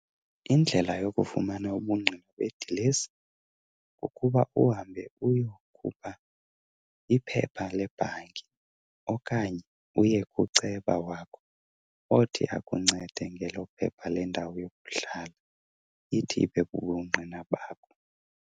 Indlela yokufumana ubungqina bedilesi kukuba uhambe uyokhupha iphepha lebhanki okanye uye kuceba wakho othi akuncede ngelo phepha lendawo yokuhlala ithi ibe bubungqina bakho.